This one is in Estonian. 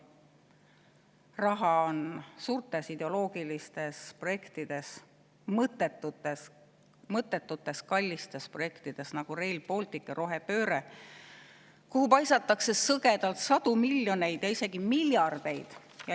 Raha on suurtes ideoloogilistes projektides, mõttetutes kallites projektides, nagu Rail Baltic ja rohepööre, kuhu paisatakse sõgedalt sadu miljoneid ja isegi miljardeid.